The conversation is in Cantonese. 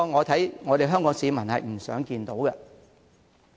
這是香港市民不想看到的。